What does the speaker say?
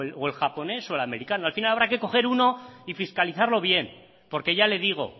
o el japonés o el americano al final habrá que coger uno y fiscalizarlo bien porque ya le digo